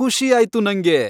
ಖುಷಿ ಆಯ್ತು ನಂಗೆ.